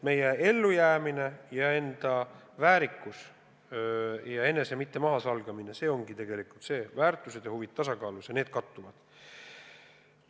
Meie ellujäämine ja eneseväärikus, enese mitte mahasalgamine – see ongi tegelikult see, et väärtused ja huvid on tasakaalus ja kattuvad.